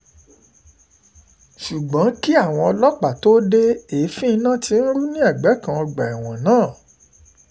ṣùgbọ́n kí àwọn ọlọ́pàá tóó de èéfín iná tí ń rú ní ẹ̀gbẹ́ kan ọgbà ẹ̀wọ̀n náà